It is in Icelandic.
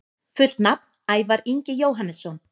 Fullt nafn: Ævar Ingi Jóhannesson